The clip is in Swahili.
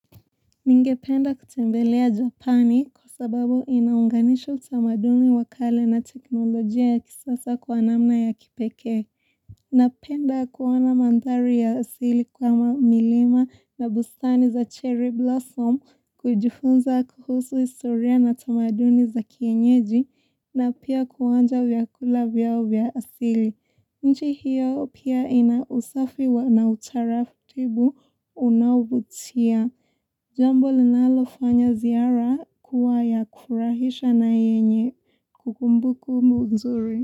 Ninge penda kutembelea Japani kwa sababu inaunganisha utamaduni wa kale na teknolojia ya kisasa kwa namna ya kipeke. Napenda kuoana mandhari ya asili kwa mamilima na bustani za cherry blossom kujifunza kuhusu historia na tamaduni za kienyeji na pia kuonja vyakula vya asili. Nchi hiyo pia ina usafi wa na utaratibu unaovutia. Jambo linalofanya ziara kuwaya kufurahisha na yenye kukumbuku mzuri.